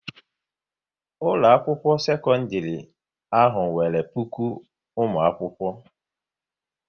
Ụlọakwụkwọ sekọndịrị ahụ nwere puku ụmụakwụkwọ